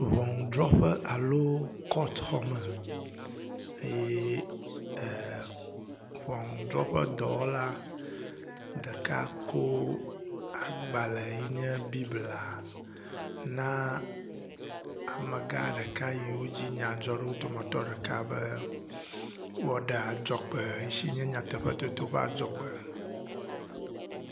Ŋɔnudrɔƒe alo kɔtxɔ me eye e… ŋɔnudrɔƒedɔwɔla ɖeka ko agbale yi nye bible na amegã ɖeka yiwo dzi nya dzɔ ɖo dometɔ ɖeka be woaɖe agdzɔgbe si nye nyateƒetoto ƒe adzɔgb.